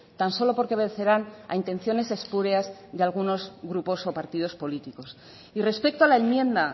tan solo porque vencerán a intenciones espurias de algunos grupos o partidos políticos y respecto a la enmienda